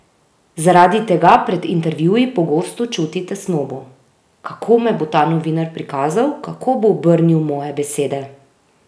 Zaradi tega pred intervjuji pogosto čuti tesnobo: "Kako me bo ta novinar prikazal, kako bo obrnil moje besede?